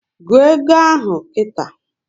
Gụọ égo ahụ nkịta!